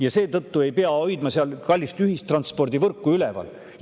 Ja seetõttu ei pea seal kallist ühistranspordivõrku üleval pidama.